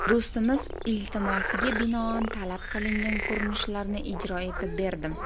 Do‘stimiz iltimosiga binoan talab qilingan ko‘rinishlarni ijro etib berdim.